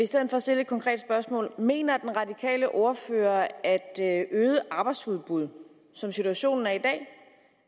stedet stille et konkret spørgsmål mener den radikale ordfører at at øget arbejdsudbud som situationen er i dag